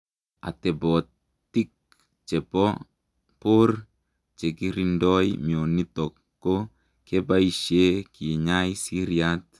Atepotiik chepoo poor chekirindoi mioniotok ko kebaishee kinyai siryaat